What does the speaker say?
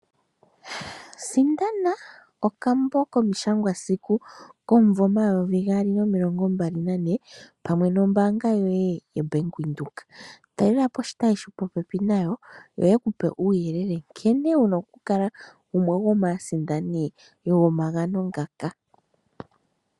Sindana, okambo komishangwasiku, komumvo omayovi gaali nomilongo mbali nane, pamwe nombaanga yoye yoBank Windhoek. Talelapo oshitayi shopopepi nayo ,yo yekupe uuyelele nkene wuna oku kala gumwe gomaasindani yomagano ngaka.